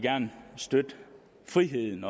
støtte friheden